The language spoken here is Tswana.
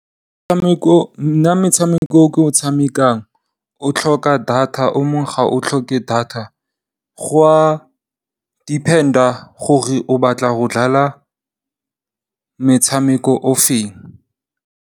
Nna metshameko e ke e tshamekang e tlhoka data o mongwe ga o tlhoke data go a depend-a gore o batla go dlala metshameko e feng.